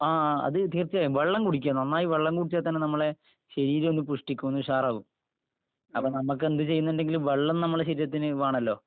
ങാ, ആ.. അത് തീർച്ചയായും. വെള്ളം കുടിക്കുക, നന്നായി വെള്ളം കുടിച്ചാ തന്നെ നമ്മടെ ശരീരം ഒന്ന് പുഷ്ടിക്കും ഒന്ന് ഉഷാറാകും.